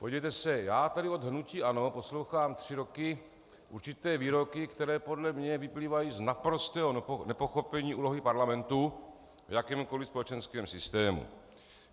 Podívejte se, já tady od hnutí ANO poslouchám tři roky určité výroky, které podle mě vyplývají z naprostého nepochopení úlohy parlamentu v jakémkoliv společenském systému.